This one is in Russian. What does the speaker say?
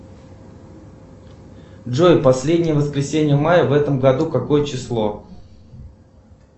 джой последнее воскресенье мая в этом году какое число